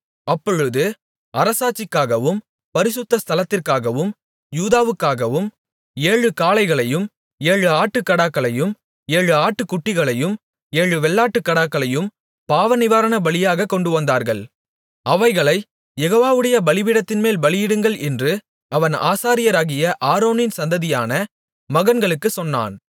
அப்பொழுது அரசாட்சிக்காகவும் பரிசுத்த ஸ்தலத்திற்காகவும் யூதாவுக்காகவும் ஏழு காளைகளையும் ஏழு ஆட்டுக்கடாக்களையும் ஏழு ஆட்டுக்குட்டிகளையும் ஏழு வெள்ளாட்டுக்கடாக்களையும் பாவநிவாரணபலியாகக் கொண்டுவந்தார்கள் அவைகளைக் யெகோவாவுடைய பலிபீடத்தின்மேல் பலியிடுங்கள் என்று அவன் ஆசாரியராகிய ஆரோனின் சந்ததியான மகன்களுக்குச் சொன்னான்